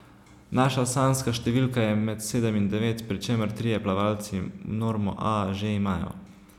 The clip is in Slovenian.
Naša sanjska številka je med sedem in devet, pri čemer trije plavalci normo A že imajo.